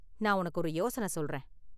நான் உனக்கு ஒரு யோசனை சொல்றேன்.